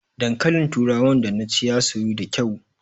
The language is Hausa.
Dankalin turawan da naci ya soyu da kyau